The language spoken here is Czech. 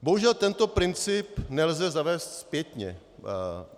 Bohužel tento princip nelze zavést zpětně.